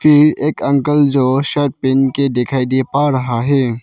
एक अंकल जो शर्ट पहन के दिखाई दे पा रहा है।